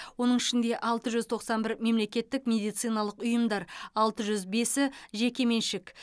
оның ішінде алты жүз тоқсан бір мемлекеттік медициналық ұйымдар алты жүз бесі жеке меншік